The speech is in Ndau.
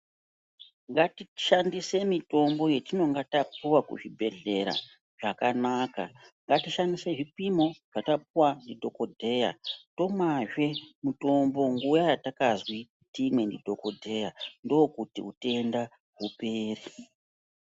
Ngatishandise mitombo yetinenge taouwa kuzvibhedhlera zvakanaka ngatishandise zvipimo zvatapuwa ndidhokodheya tomwazve mutombo nguwa yatakazwi timwe ndidhokodheya ndokuti utenda hupere.